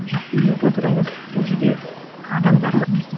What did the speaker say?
жоқ номенклатура емес бұл жерде адамдар ғой